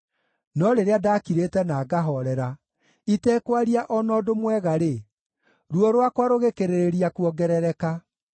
No rĩrĩa ndakirĩte na ngahoorera, itekwaria o na ũndũ mwega-rĩ, ruo rwakwa rũgĩkĩrĩrĩria kuongerereka.